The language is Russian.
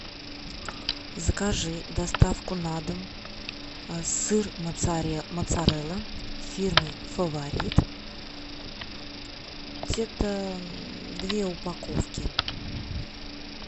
закажи доставку на дом сыр моцарелла фирмы фаворит где то две упаковки